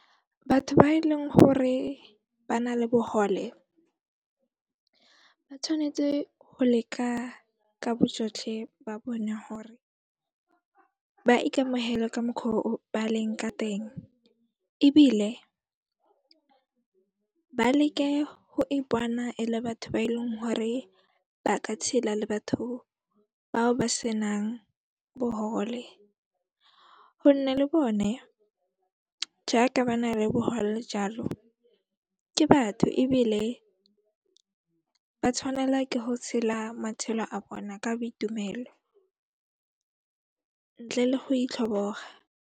Batho ba e leng hore ba na le bohole, ba tshwanetse go leka ka bojotlhe ba bone hore ba ikamohele ka mokgwa o ba leng ka teng, ebile ba leke go ipona e le batho ba eleng hore ba ka tshela le batho bao ba senang bohole gonne le bone jaaka ba na le bohole jalo, ke batho ebile ba tshwanela ke ho tshela matshelo a bona ka boitumelo ntle le go itlhoboga.